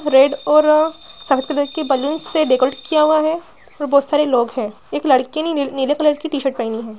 Red और अ के बलून्स से डेकोरेट किया हुआ है और बोहोत सारे लोग है एक लड़की ने ने नीले कलर की टी-शर्ट पेहेनी है।